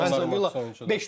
Yox, mən sizə topu göstərim.